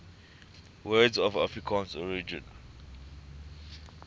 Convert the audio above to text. words of afrikaans origin